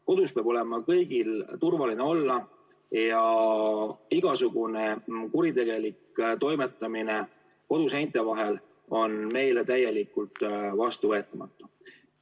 Kodus peab olema kõigil turvaline olla ja igasugune kuritegelik toimetamine koduseinte vahel on meile täielikult vastuvõetamatu.